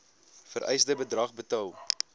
vereiste bedrag betaal